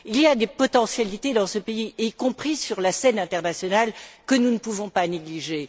Il y a des potentialités dans ce pays, y compris sur la scène internationale, que nous ne pouvons pas négliger.